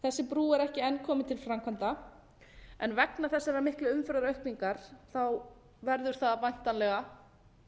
brú er ekki enn komin til framkvæmda en vegna þessarar miklu umferðaraukningar verður það væntanlega